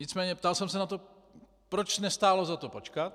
Nicméně ptal jsem se na to, proč nestálo za to počkat.